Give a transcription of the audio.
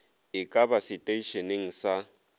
e ka ba seteišeneng sa